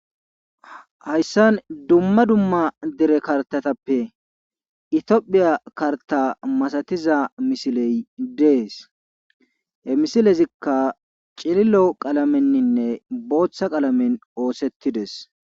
Hayssan dumma dumma dere karttatappe itophiya karta masatiya misile dees. he misilezikka cililo qalameninne booththa qalamen ooseidees.